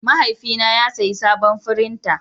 Mahaifina ya sayi sabon firinta.